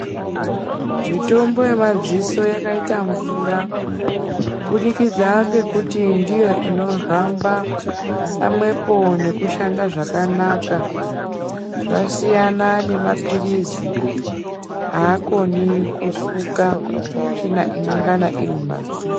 Mitombo yemadziso yakayita mvura kubudikidza ngekuti ndiyo inohamba pamwepo nekushanda zvakanaka. Zvasiyana nemaphilizi akoni kusuka tsvina inongana irimumadziso.